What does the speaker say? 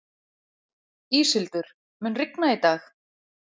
Íshildur, mun rigna í dag?